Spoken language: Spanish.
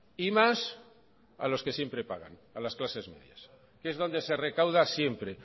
y más a los que siempre pagan a las clases medias que es donde se recauda siempre